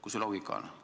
Kus see loogika on?